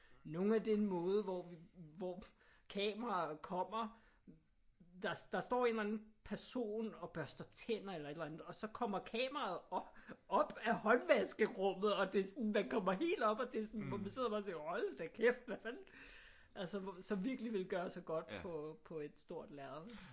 Nogen af den måde hvor hvor kameraet kommer. Der der står en eller anden person og børster tænder eller et eller andet. Og så kommer kameraet bare op af håndvaskerummet og det er sådan man kommer helt op og det er sådan hvor man sidder bare og tænker hold da kæft! Hvad fanden! Altså som virkelig ville gøre sig godt på på et stort lærred